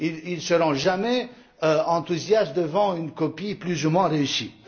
Ils ne seront jamais enthousiastes devant une copie plus ou moins réussie.